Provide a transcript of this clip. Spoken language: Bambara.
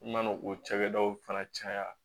I mana o cakɛdaw fana caya